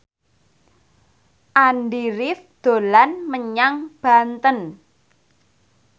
Andy rif dolan menyang Banten